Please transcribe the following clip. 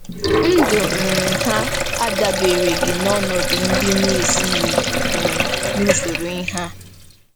Ndụ um ha adabereghị n'ọnọdụ ndị na-esighị ike um nke usoro ihe a.